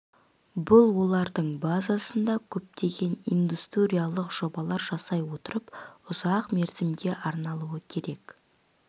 бұл олардың базасында көптеген индустриялық жобалар жасай отырып ұзақ мерзімге арналуы керек